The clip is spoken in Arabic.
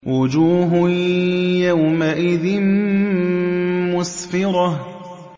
وُجُوهٌ يَوْمَئِذٍ مُّسْفِرَةٌ